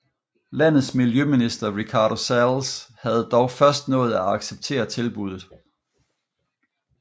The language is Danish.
Landets miljøminister Ricardo Salles havde dog først nået at acceptere tilbuddet